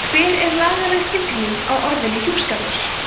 hver er lagaleg skilgreining á orðinu hjúskapur